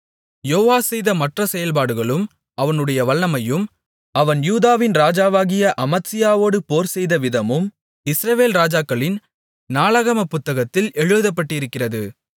யோவாஸ் செய்த மற்ற செயல்பாடுகளும் அவனுடைய வல்லமையும் அவன் யூதாவின் ராஜாவாகிய அமத்சியாவோடு போர்செய்த விதமும் இஸ்ரவேல் ராஜாக்களின் நாளாகமப் புத்தகத்தில் எழுதப்பட்டிருக்கிறது